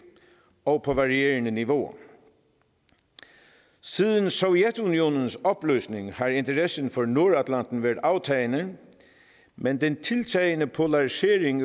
og på varierende niveauer siden sovjetunionens opløsning har interessen for nordatlanten været aftagende men den tiltagende polarisering i